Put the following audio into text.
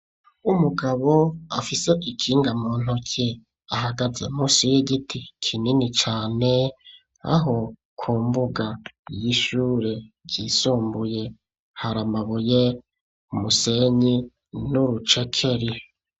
Umugabo afise ikinga mu ntoki ahagaze musi y'igiti kinini cane aho ku mbuga y'ishure ry'isumbuye hari amabuye musenyi n'urucekeri.